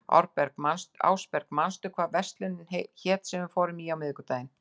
Ásberg, manstu hvað verslunin hét sem við fórum í á miðvikudaginn?